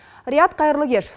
риат қайырлы кеш